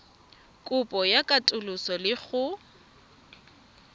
kopo ya katoloso le go